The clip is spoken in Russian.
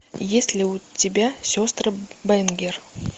есть ли у тебя сестры бэнгер